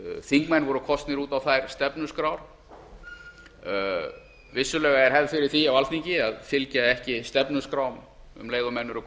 þingmenn voru kosnir út á þær stefnuskrár vissulega er hefð fyrir því á alþingi að fylgja ekki stefnuskrám um leið og